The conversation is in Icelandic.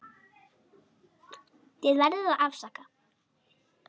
Þið verðið að afsaka.